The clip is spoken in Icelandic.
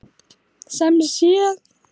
Sem sé.